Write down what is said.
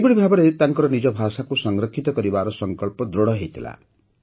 ଏହିଭଳି ଭାବରେ ତାଙ୍କର ନିଜ ଭାଷାକୁ ସଂରକ୍ଷିତ କରିବାର ସଂକଳ୍ପ ଦୃଢ଼ ହୋଇଥିଲା